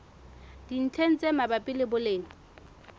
dintlheng tse mabapi le boleng